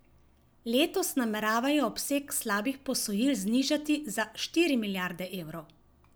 Letos nameravajo obseg slabih posojil znižati za štiri milijarde evrov.